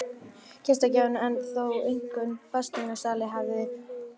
Gestgjafinn en þó einkum fasteignasalinn hafði orðið.